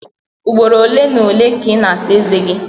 Ugboro ole na ole ka ị na-asa eze gi?